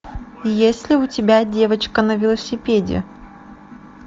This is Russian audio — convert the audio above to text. есть ли у тебя девочка на велосипеде